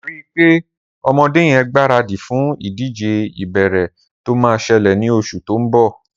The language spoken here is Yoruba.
Ri pé ọmọdé yèn gbàrádí fún idijé ìbééré tó mà ṣẹlẹ ni óṣú tó n bọ